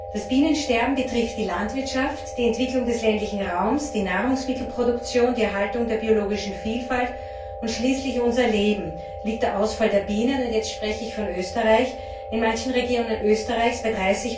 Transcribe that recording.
Das Bienensterben betrifft die Landwirtschaft, die Entwicklung des ländlichen Raums, die Nahrungsmittelproduktion, die Erhaltung der biologischen Vielfalt und schließlich unser Leben. Hier liegt der Ausfall der Bienen und jetzt spreche ich von Österreich in manchen Regionen Österreichs bei